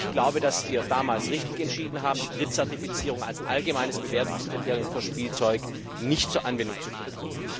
Ich glaube, dass wir damals richtig entschieden haben, die Drittzertifizierung als allgemeines Bewertungskriterium für Spielzeug nicht zur Anwendung zu bringen.